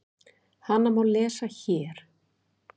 Hana má lesa HÉR.